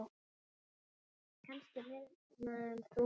Kannski minna en þú.